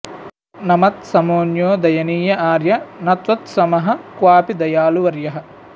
न मत्समोऽन्यो दयनीय आर्य न त्वत्समः क्वापि दयालुवर्यः